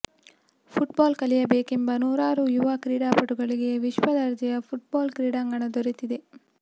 football ಕಲಿಯಬೇಕೆಂಬ ನೂರಾರು ಯುವ ಕ್ರೀಡಾಪಟುಗಳಿಗೆ ವಿಶ್ವದರ್ಜೆಯ ಫುಟ್ಬಾಲ್ ಕ್ರೀಡಾಂಗಣ ದೊರೆತಿದೆ